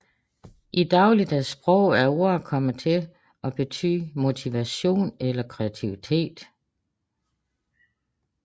I dagligdags sprog er ordet kommet til at betyde motivation eller kreativitet